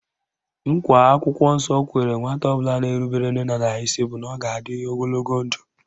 Nkwa akwụkwọ nsọ kwere nwata ọbụla na-erubere nne na nna ya isi bụ na ọ ga-adị ogologo ndụ